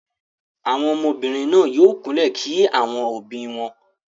Àwọn ọmọbìnrin náà yóò kúnlẹ̀ kí àwọn òbí wọn.